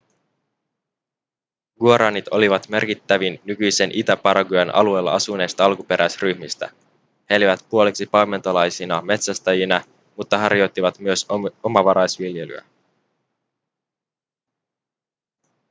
guaranit olivat merkittävin nykyisen itä-paraguayn alueella asuneista alkuperäisryhmistä he elivät puoliksi paimentolaisina metsästäjinä mutta harjoittivat myös omavaraisviljelyä